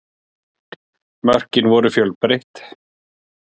Mörkin voru fjölbreytt